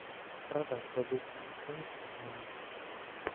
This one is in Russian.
продать валюту стоимость обмена